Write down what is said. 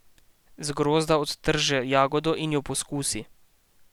Z grozda odtrže jagodo in jo poskusi.